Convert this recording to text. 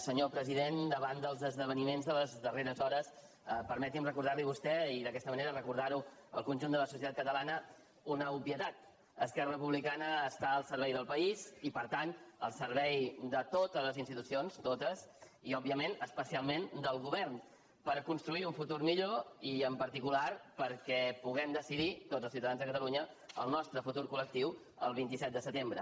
senyor president davant dels esdeveniments de les darreres hores permeti’m recordar li a vostè i d’aquesta manera recordar ho al conjunt de la societat catalana una obvietat esquerra republicana està al servei del país i per tant al servei de totes les institucions totes i òbviament especialment del govern per construir un futur millor i en particular perquè puguem decidir tots els ciutadans de catalunya el nostre futur col·lectiu el vint set de setembre